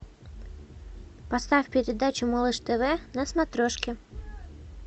поставь передачу малыш тв на смотрешке